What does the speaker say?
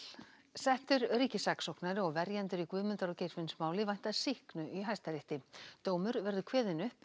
settur ríkissaksóknari og verjendur í Guðmundar og vænta sýknu í Hæstarétti dómur verður kveðinn upp